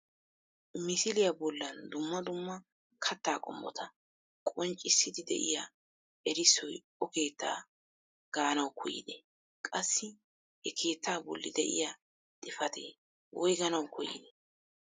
Misiliyaa bollan dumma dumma kattaa qommota qonccisiidi de'iyaa erissoy o keettaa gaanawu koyide? qassi he keettaa bolli de'iyaa xifatee woyganawu koyide?